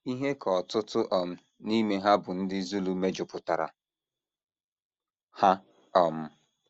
Ihe ka ọtụtụ um n’ime ha bụ ndị Zulu mejupụtara ha. um